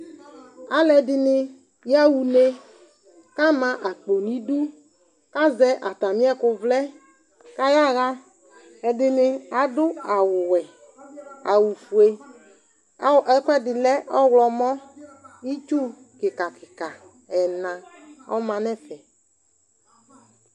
Alʋɛdɩnɩ yaɣa une kʋ ama akpo nʋ idu kʋ azɛ atamɩ ɛkʋvlɛ kʋ ayaɣa Ɛdɩnɩ adʋ awʋwɛ, awʋfue, aw ɛkʋɛdɩ lɛ ɔɣlɔmɔ Itsu kɩka kɩka ɛna ɔma nʋ ɛfɛ